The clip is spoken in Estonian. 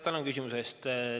Tänan küsimuse eest!